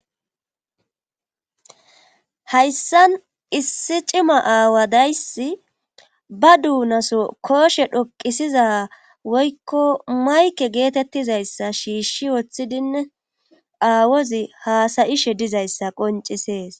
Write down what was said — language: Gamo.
hayssan issi cima aawadayssi ba duunaso kooshe dhoqisiza woykko mayke geetettizayssa shiishshi woththidinne aawozi haasayishe dizayssa qoncisees